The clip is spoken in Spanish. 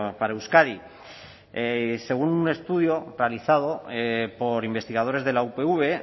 para euskadi según un estudio realizado por investigadores de la upv